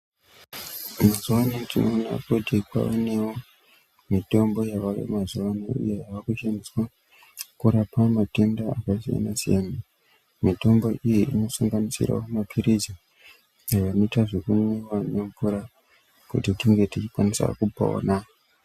Mazuvaano tinowona kuti kwanewo mitombo yaveyemazuvaano uye yaakushandiswa kurapa matenda akasiyana siyana ,mitombo iyi inosanganisira mapirisi anoita zvekunwiwa nemvura kutitinge tichikwanisa kupona.